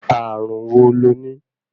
Ààrùn wo lo ní?